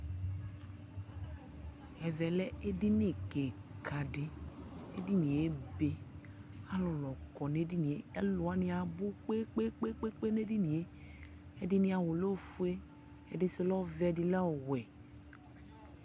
Ɛvɛ lɛ edini kɩka dɩ Edini yɛ ebe kʋ alʋlʋ kɔ nʋ edini yɛ Alʋ wanɩ abʋ kpe-kpe-kpe nʋ edini yɛ Ɛdɩnɩ awʋ lɛ ofue Ɛdɩ sʋ lɛ ɔvɛ, ɛdɩ lɛ ɔwɛ